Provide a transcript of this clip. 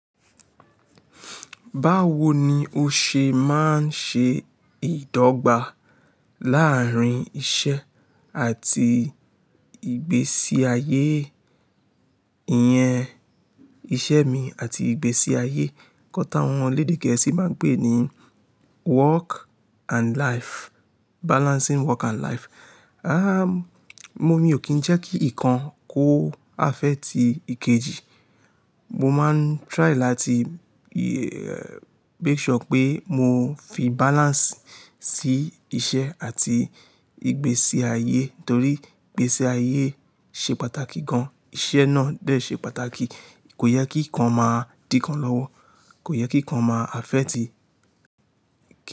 Báwo ni o ṣe máa ń ṣe ìdọ́gba láàrín iṣẹ́ àti ìgbésí ayé? Iyẹn iṣẹ́ mi àti ìgbésí ayé. Òún tí àwọn elédè geesí máa ń pè é ní work and life, balancing work and life. Ah, mo, mi ò kí ń jẹ́ kí nǹkan kó afẹ́ ti ìkejì. Mo máa ń try láti make sure pé mo fi balance sí iṣẹ́ àti ìgbésí ayé torí ìgbésí ayé ṣe pàtàkì gan, iṣẹ́ náà dẹ̀ ṣe pàtàkì. Kò yẹ kí nǹkan máa dínkan lọ́wọ́, kò yẹ kí nǹkan máa afẹ́ ti.